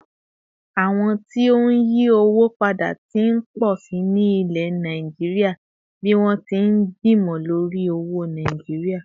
àwọn tí n yi owó pada t'in po sí ní ilẹ̀ Naijiria bi wọn ti n gbimọ lori owó náírà